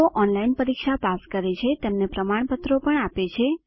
જેઓ ઓનલાઇન પરીક્ષા પાસ કરે છે તેમને પ્રમાણપત્ર આપે છે